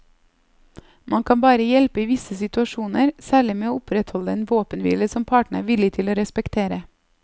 Man kan bare hjelpe i visse situasjoner, særlig med å opprettholde en våpenhvile som partene er villig til å respektere.